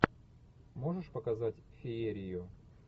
можешь показать феерию